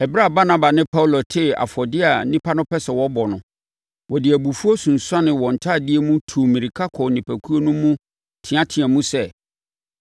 Ɛberɛ a Barnaba ne Paulo tee afɔdeɛ a nnipa no pɛ sɛ wɔbɔ no, wɔde abufuo sunsuanee wɔn ntadeɛ mu, tuu mmirika kɔɔ nnipakuo no mu teateaam sɛ,